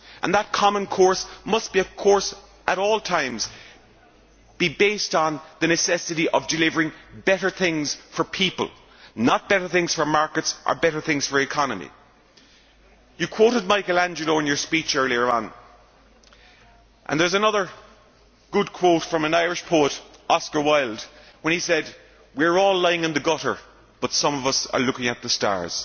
That common course must at all times be based on the necessity of delivering better things for people, not better things for markets or better things for the economy. Prime Minister, you quoted Michelangelo in your speech earlier on, and there is another good quote from an Irish poet, Oscar Wilde, when he said We are all lying in the gutter, but some of us are looking at the stars'.